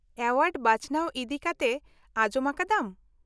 -Word ᱵᱟᱪᱷᱱᱟᱣ ᱤᱫᱤᱠᱟᱛᱮ ᱟᱡᱚᱢ ᱟᱠᱟᱫᱟᱢ ?